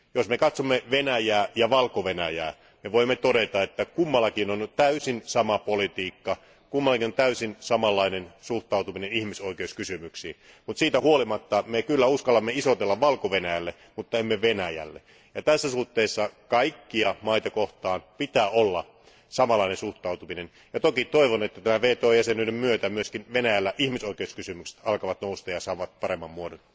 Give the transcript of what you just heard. Jos me katsomme Venäjää ja Valko Venäjää, niin voimme todeta, että kummallakin on täysin sama politiikka, kummallakin on täysin samanlainen suhtautuminen ihmisoikeuskysymyksiin, mutta siitä huolimatta me kyllä uskallamme isotella Valko Venäjälle mutta emme Venäjälle, ja tässä suhteessa kaikkia maita kohtaan pitää olla samanlainen suhtautuminen, ja toki toivon, että tämän WTO jäsenyyden myötä myös Venäjällä ihmisoikeuskysymykset alkavat nousta ja saavat paremman muodon.